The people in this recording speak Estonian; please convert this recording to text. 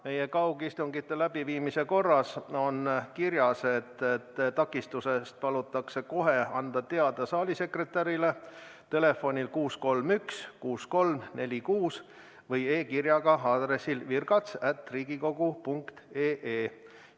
Meie kaugistungi läbiviimise korras on kirjas, et takistusest palutakse kohe anda teada saali sekretärile telefonil 631 6346 või e-kirjaga aadressil virgats@riigikogu.ee.